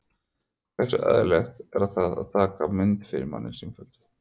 Hversu eðlilegt er það að taka mann fyrir í sífellu?